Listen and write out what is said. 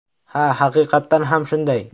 Ha, haqiqatdan ham shunday.